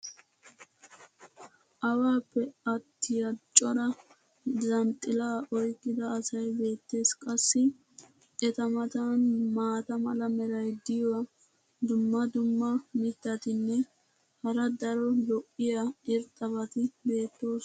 awaappe attiya cora zhanxxilaa oyqqida asay beetees. qassi eta matan maata mala meray diyo dumma dumma mitatinne hara daro lo'iya irxxabati beetoosona.